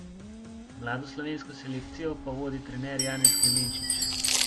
Mlado slovensko selekcijo pa vodi trener Janez Klemenčič.